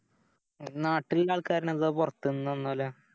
നാട്ടിലിള്ളേ ആൾക്കാരോ അതോ പൊറത്ത്ന്ന് വന്നോളൂ